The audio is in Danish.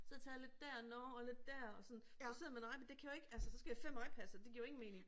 Så har jeg taget lidt der nåh og lidt der og sådan og sidder man og ej men det kan jo ikke altså så skal jeg have 5 iPads og det jo ingen mening